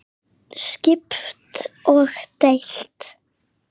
Skipt og deilt